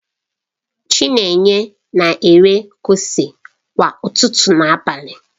Chinenye na-ere kose kwa ụtụtụ na abalị.